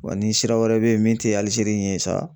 Wa ni sira wɛrɛ bɛ ye min tɛ Alizeri in ye sa.